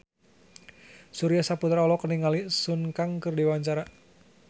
Surya Saputra olohok ningali Sun Kang keur diwawancara